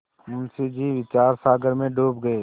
मुंशी जी विचारसागर में डूब गये